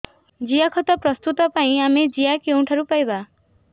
ଜିଆଖତ ପ୍ରସ୍ତୁତ ପାଇଁ ଆମେ ଜିଆ କେଉଁଠାରୁ ପାଈବା